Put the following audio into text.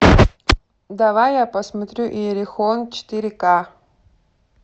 давай я посмотрю иерихон четыре ка